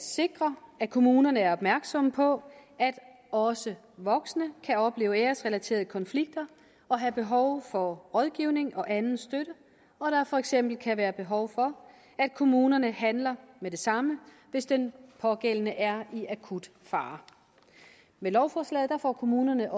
sikre at kommunerne er opmærksomme på at også voksne kan opleve æresrelaterede konflikter og have behov for rådgivning og anden støtte og at der for eksempel kan være behov for at kommunerne handler med det samme hvis den pågældende er i akut fare med lovforslaget får kommunerne